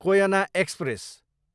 Koyna express